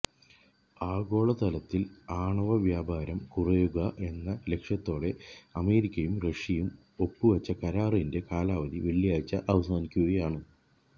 ആഗോളതലത്തില് ആണവ വ്യാപാരം കുറയ്ക്കുക എന്ന ലക്ഷ്യത്തോടെ അമേരിക്കയും റഷ്യയും ഒപ്പുവെച്ച കരാറിന്റെ കാലാവധി വെള്ളിയാഴ്ച അവസാനിക്കുകയാണ്